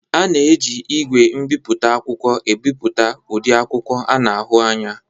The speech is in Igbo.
A na-eji igwe mbiputa akwụkwọ emepụta ụdị akwụkwọ a na ahu anya.